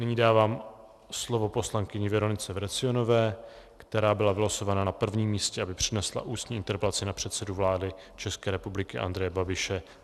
Nyní dávám slovo poslankyni Veronice Vrecionové, která byla vylosována na prvním místě, aby přednesla ústní interpelaci na předsedu vlády České republiky Andreje Babiše.